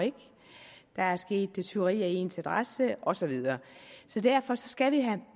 der er sket tyveri af ens adresse og så videre derfor skal vi have